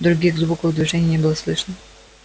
других звуков и движений не было слышно